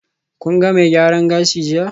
Kun ga mai gyaran gashi jiya?